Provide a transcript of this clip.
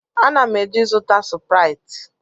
Ana m eje ịzụta sụpụrịtị